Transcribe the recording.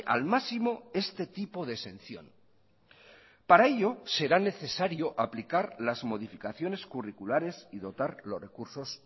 al máximo este tipo de exención para ello será necesario aplicar las modificaciones curriculares y dotar los recursos